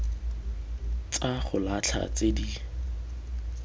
tsa go latlha tse di